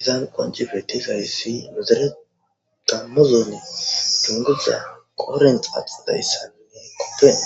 Izan qoncipetizayssi mizere damozone dunguza korent axadayssane